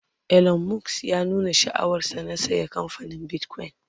Elon Musk ya nuna sha'awar sa na saya kamfanin bitcoin